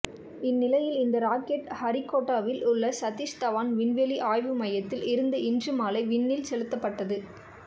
இந்நிலையில் இந்த ராக்கெட் ஸ்ரீஹரிகோட்டாவில் உள்ள சதீஷ் தவான் விண்வெளி ஆய்வு மையத்தில் இருந்து இன்று மாலை விண்ணில் செலுத்தப்பட்டது